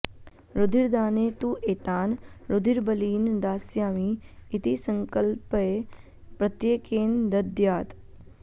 रुधिरदाने तु एतान् रुधिरबलीन् दास्यामि इति सङ्कल्प्य प्रत्येकेन दद्यात्